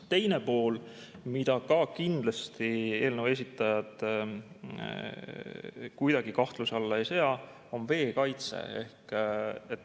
Teine pool, mida ka kindlasti eelnõu esitajad kuidagi kahtluse alla ei sea, on veekaitse.